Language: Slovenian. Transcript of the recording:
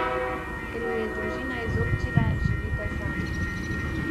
Ker ju je družina izobčila, živita sami.